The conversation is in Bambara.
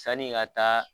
Sani ka taa